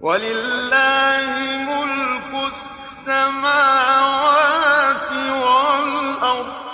وَلِلَّهِ مُلْكُ السَّمَاوَاتِ وَالْأَرْضِ ۚ